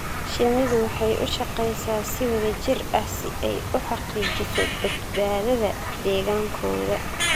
Shinnidu waxay u shaqeysaa si wada jir ah si ay u xaqiijiso badbaadada deegaankooda.